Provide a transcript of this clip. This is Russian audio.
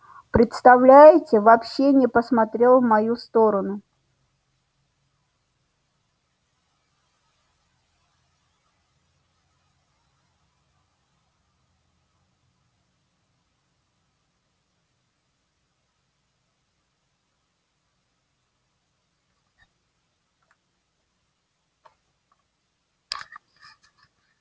представляете вообще не посмотрел в мою сторону